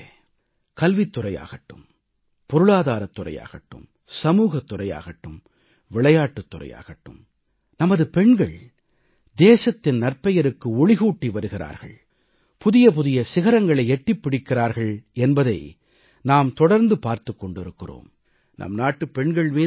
எனதருமை நாட்டுமக்களே கல்வித் துறையாகட்டும் பொருளாதாரத் துறையாகட்டும் சமூகத் துறையாகட்டும் விளையாட்டுத் துறையாகட்டும் நமது பெண்கள் தேசத்தின் நற்பெயருக்கு ஒளிகூட்டி வருகிறார்கள் புதிய புதிய சிகரங்களை எட்டிப் பிடிக்கிறார்கள் என்பதை நாம் தொடர்ந்து பார்த்துக் கொண்டிருக்கிறோம்